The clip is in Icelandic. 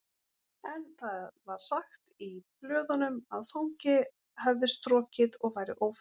En það var sagt í blöðunum að fangi hefði strokið og væri ófundinn